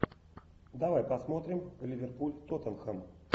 давай посмотрим ливерпуль тоттенхэм